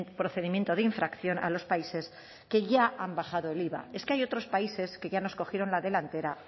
procedimiento de infracción a los países que ya han bajado el iva es que hay otros países que ya nos cogieron la delantera